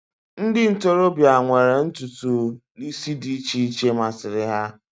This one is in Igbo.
ndị ntorobịa nwere ntutu isi dị iche iche masịrị ha